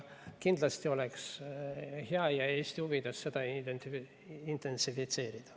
Kindlasti oleks hea ja Eesti huvides seda intensiivistada.